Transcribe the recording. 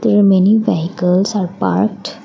there many vehicles are parked.